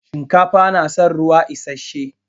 Shinkafa na san ruwa isashe.